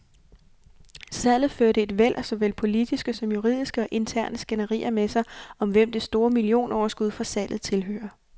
Salget førte et væld af såvel politiske som juridiske og interne skænderier med sig, om hvem det store millionoverskud fra salget tilhører.